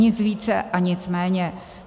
Nic více a nic méně.